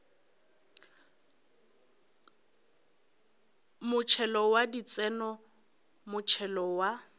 motšhelo wa ditseno motšhelo wa